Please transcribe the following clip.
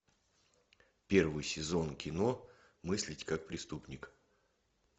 первый сезон кино мыслить как преступник